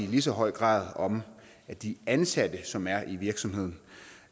lige så høj grad om at de ansatte som er i virksomheden